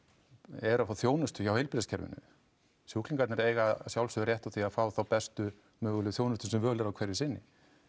eru að fá þjónustu hjá heilbrigðiskerfinu sjúklingarnir eiga að sjálfsögðu rétt á því að fá bestu mögulegu þjónustu sem völ er á hverju sinni